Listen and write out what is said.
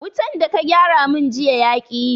Wutan da ka gyara mun jiya yaƙi yi